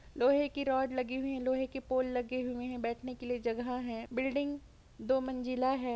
लोहे की रोड लगी हुई है। लोहे की पोल लगी हुई है। बैठने की जगह है। बिल्डिंग दो मंज़िला है।